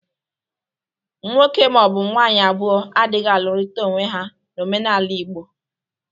Nwoke ma ọ bụ nwaanyị abụọ adịghị alụrịta onwe ha n'omenala Igbo.